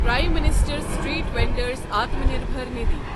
prime minister street vendor's Atmanirbhar Nidhi